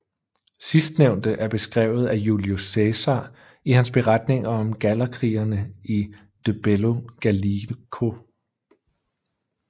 Sidstnævnte er beskrevet af Julius Cæsar i hans beretninger om gallerkrigene i De Bello Gallico